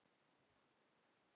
Endist í marga mánuði.